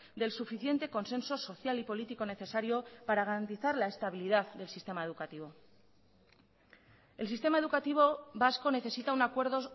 del suficiente consenso social y político necesario para garantizar la estabilidad del sistema educativo el sistema educativo vasco necesita un acuerdo